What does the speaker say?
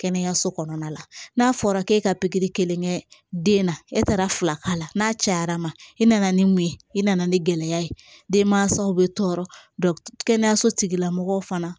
Kɛnɛyaso kɔnɔna la n'a fɔra k'e ka pikiri kelen kɛ den na e taara fila k'a la n'a cayara ma i nana ni mun ye i nana ni gɛlɛya ye denmansaw bɛ tɔɔrɔ kɛnɛyaso tigilamɔgɔw fana